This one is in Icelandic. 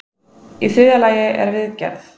í þriðja lagi er viðgerð